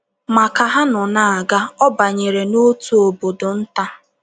“ Ma ka ha nọ na - aga, ọ banyere n’otu obodo nta.